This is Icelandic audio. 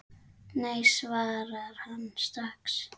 Nei svarar hann strax.